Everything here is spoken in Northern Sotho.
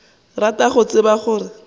rata go tseba gore molato